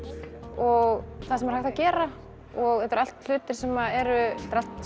og það sem er hægt að gera og þetta eru allt hlutir sem eru